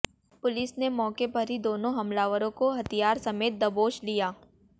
police ने मौके पर ही दोनों हमलावरों को हथियार समेत दबोच लिया